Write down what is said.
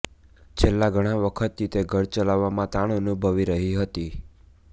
છેલ્લા ઘણા વખતથી તે ઘર ચલાવવામાં તાણ અનુભવી રહી હતી